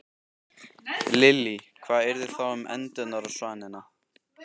Lillý: Hvað yrði þá um endurnar og svanina?